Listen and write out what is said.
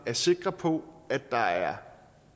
er sikre på at der er